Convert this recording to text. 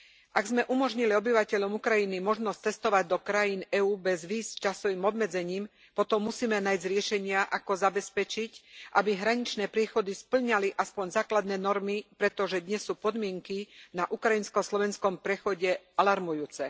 Ak sme umožnili obyvateľom Ukrajiny cestovať do krajín EÚ bez víz s časovým obmedzením, potom musíme nájsť riešenia, ako zabezpečiť, aby hraničné priechody spĺňali aspoň základné normy, pretože dnes sú podmienky na ukrajinsko slovenskom priechode alarmujúce.